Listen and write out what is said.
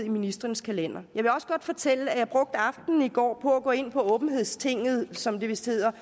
ministrenes kalendere jeg vil også godt fortælle at jeg brugte aftenen i går på at gå ind på åbenhedstinget som det vist hedder